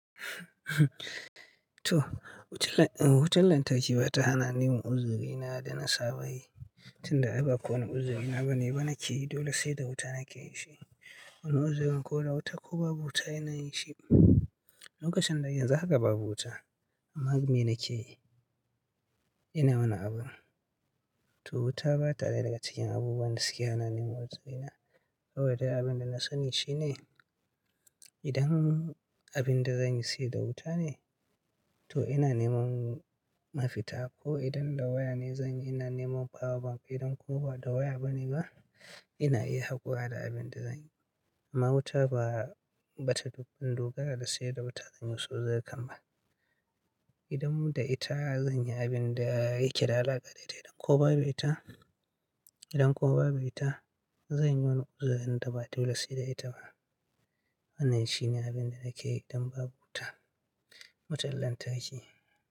To, wutan lantarki ba ta hana ni yin uzuri na da na saba yi, tunda ai ba kowane uzuri na bane ba na ke yi, dole sai da wuta na ke yin shi. Wani uzurin ko da wuta ko babu wuta ina yin shi. Lokacin nan yanzu haka babu wuta, amma me na ke yi? Ina wani abu. To wuta ba ta daya daga cikin abubuwan da suke hana ni yin uzuri na. Saboda dai abin da na sani shi ne, idan abin da zan yi shi da wuta ne, to ina neman mafita ko idan da waya ne zan yi, ina neman power bank, idan kuma ba da waya bane ba, ina iya haƙura da abin da zan yi. Amma wuta ba, ba ta dogara da sai da wuta zan yi wasu uzurinkan ba. Idan da ita zan yi abin da yake da alaƙa da ita, idan kuma babu ita, idan kuma babu ita, zan yi wani uzurin da ba dole sai da ita ba. Wannan shi ne abin da nake yi idan babu wuta wutar lantarki.